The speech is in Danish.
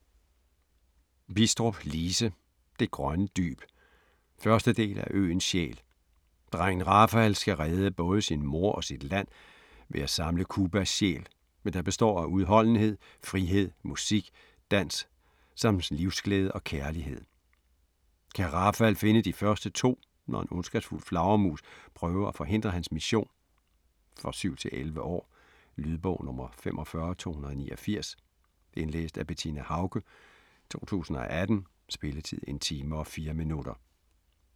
Bidstrup, Lise: Det grønne dyb 1. del af Øens sjæl. Drengen Rafael skal redde både sin mor og sit land, ved at samle Cubas sjæl, der består af udholdenhed, frihed, musik, dans, samt livsglæde og kærlighed. Kan Rafael finde de første to, når en ondskabsfuld flagermus prøver at forhindre hans mission? For 7-11 år. Lydbog 45289 Indlæst af Bettina Haucke, 2018. Spilletid: 1 time, 4 minutter.